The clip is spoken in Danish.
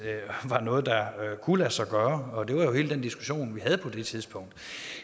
var noget der kunne lade sig gøre og det var jo hele den diskussion vi havde på det tidspunkt